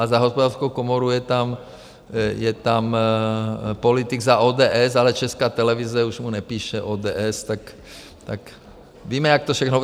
A za Hospodářskou komoru je tam politik za ODS, ale Česká televize už mu nepíše ODS, tak víme, jak to všechno...